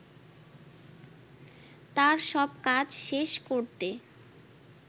তার সব কাজ শেষ করতে